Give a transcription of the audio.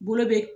Bolo bɛ